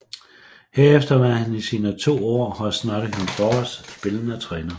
Herefter var han i sine to år hos Nottingham Forest spillende træner